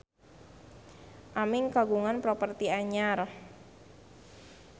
Aming kagungan properti anyar